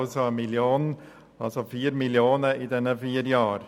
Das ergibt 4 Mio. Franken in diesen vier Jahren.